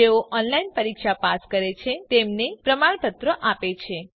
જેઓ ઓનલાઇન પરીક્ષા પાસ કરે છે તેમને પ્રમાણપત્ર આપે છે